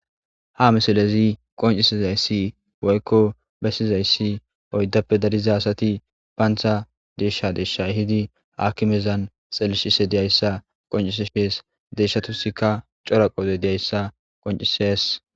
Ha misalezi qoncisizayssi woykko bessizayssi oyddappe dariza asati baantha deeshsha deeshsha hidi aakimezan xellishise diyayssa qoncise shees deeshatusikka cora qoode diyayssa qoncises.